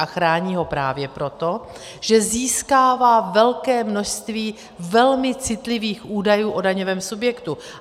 A chrání ho právě proto, že získává velké množství velmi citlivých údajů o daňovém subjektu.